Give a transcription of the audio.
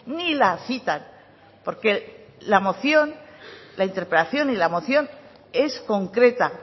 ni la citan porque la moción la interpelación y la moción es concreta